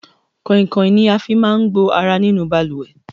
Koinkoin ni a fí máa ń gbo ará nínú ibalúwẹ́